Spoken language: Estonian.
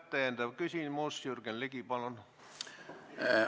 Täpsustav küsimus, Jürgen Ligi, palun!